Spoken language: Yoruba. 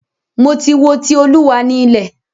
Mo ti wo "Ti Olúwa ni ilẹ̀".